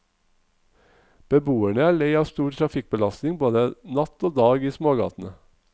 Beboerne er lei av stor trafikkbelastning både natt og dag i smågatene.